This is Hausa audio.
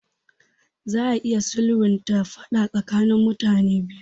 Za a iya sulhunta faɗa tsakanin mutane biyu.